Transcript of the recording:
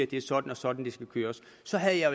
det er sådan og sådan det skal køres så havde jeg